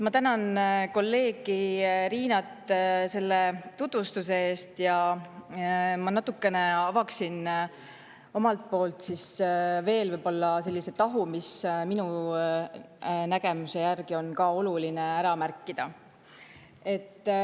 Ma tänan kolleeg Riinat selle tutvustuse eest ja natukene avaksin omalt poolt veel ühe tahu, mis minu nägemuse järgi on ka oluline ära märkida.